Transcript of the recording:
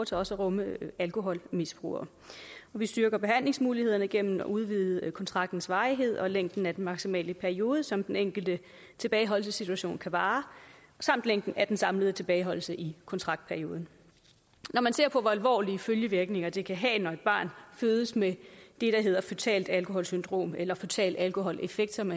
til også at rumme alkoholmisbrugere og vi styrker behandlingsmulighederne gennem at udvide kontraktens varighed og længden af den maksimale periode som den enkelte tilbageholdelsessituation kan vare samt længden af den samlede tilbageholdelse i kontraktperioden når man ser på hvor alvorlige følgevirkninger det kan have når et barn fødes med det der hedder føtalt alkoholsyndrom eller føtale alkoholeffekter som